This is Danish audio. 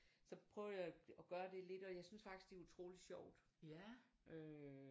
Så prøvede jeg at gøre det lidt og jeg synes faktisk det er utroligt sjovt øh